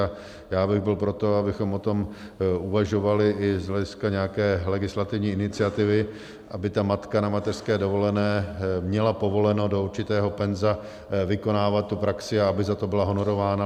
A já bych byl pro to, abychom o tom uvažovali i z hlediska nějaké legislativní iniciativy, aby ta matka na mateřské dovolené měla povoleno do určitého penza vykonávat tu praxi a aby za to byla honorována.